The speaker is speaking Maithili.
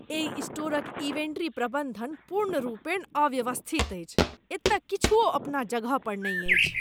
एहि स्टोरक इन्वेंट्री प्रबन्धन पूर्णरूपेण अव्यवस्थित अछि। एतय किछुओ अपना जगह पर नहि अछि।